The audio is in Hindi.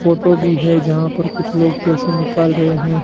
फोटो भी है जहां पर कुछ लोग पैसे निकाल रहे हैं।